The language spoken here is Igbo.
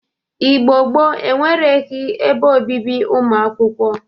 Igbo gboo enweregi ebe obibi ụmụ akwụkwọ